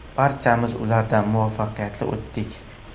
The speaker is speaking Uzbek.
Barchamiz ulardan muvaffaqiyatli o‘tdik.